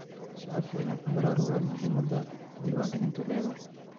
Shacabku waa in ay ku baraarugaan muhiimadda diwaangelintu leedahay.